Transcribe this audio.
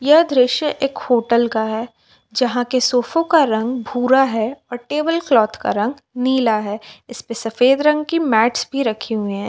यह दृश्य एक होटल का है जहां के सोफों का रंग भूरा है और टेबल क्लॉथ का रंग नीला है इस पे सफेद रंग की मैच भी रखे हुए हैं।